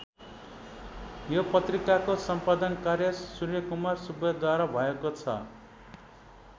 यो पत्रिकाको सम्पादन कार्य सूर्यकुमार सुब्बाद्वारा भएको छ।